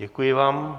Děkuji vám.